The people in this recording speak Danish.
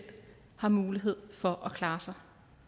har mulighed for at klare sig